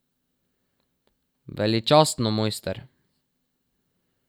Veličastno, mojster!